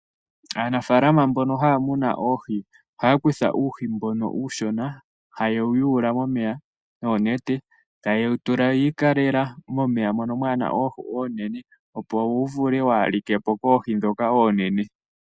Aanafaalama mbono haya munu oohi ohaya kutha uuhi mbono uushona haye wu yuula momeya noonete, ta ye wu tula wi ikalela momeya mono kamuna oohi oonene opo wu vule kawulikepo koohi ndhoka oonene.